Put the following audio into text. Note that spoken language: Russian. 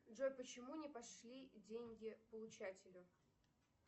джой почему не пошли деньги получателю